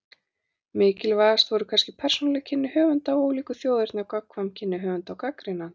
Mikilvægust voru kannski persónuleg kynni höfunda af ólíku þjóðerni og gagnkvæm kynni höfunda og gagnrýnenda.